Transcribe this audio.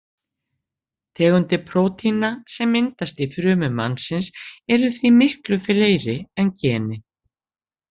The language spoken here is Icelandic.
Tegundir prótína sem myndast í frumum mannsins eru því miklu fleiri en genin.